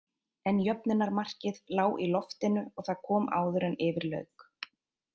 En jöfnunarmarkið lá í loftinu og það kom áður en yfir lauk.